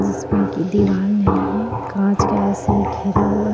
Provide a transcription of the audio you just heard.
जिसमे की दीवार नहीं है कांच का ऐसे घिरा हुआ है.